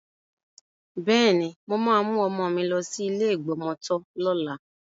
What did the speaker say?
Bẹ́ẹ̀ni, mo máa mú ọmọ mi lọ sí ilé ìgbọmọtọ́ lọ́la.